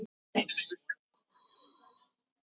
Þetta var mjög sterk keppni.